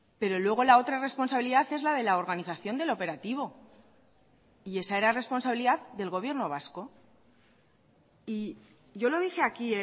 pero luego la otra responsabilidad es la de la organización del operativo y esa era responsabilidad del gobierno vasco y yo lo dije aquí